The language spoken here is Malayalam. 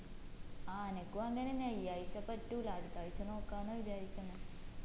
ആ ആനക്കും അങ്ങനെന്നെ ഈ ആഴ്ച പറ്റൂല അടുത്ത ആഴ്ച നോക്കാന്നാ വിചാരിക്കിന്ന്